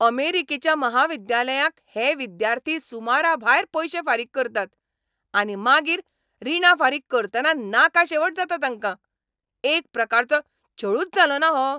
अमेरिकेच्या महाविद्यालयांक हे विद्यार्थी सुमराभायर पयशे फारीक करतात. आनी मागीर रिणां फारीक करतना नाका शेवट जाता तांकां. एक प्रकारचो छळूच जालोना हो?